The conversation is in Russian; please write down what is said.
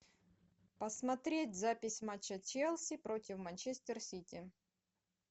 посмотреть запись матча челси против манчестер сити